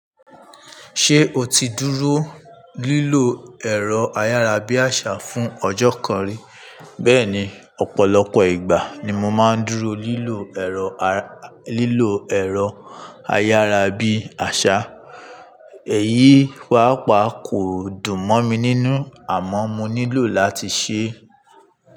Ṣé o ti dúró lílo ẹ̀rọ ayárabíàṣá fún ọjọ́ kan rí? Bẹ́ẹ̀ni, ọ̀pọ̀lọpọ̀ ìgbà ni mo máa ń dúró lílọ ẹ̀rọ ayárabíàṣá. Èyí paapa kò dùn mọ́ mi nínú, àmọ́ mo nílò láti ṣe é.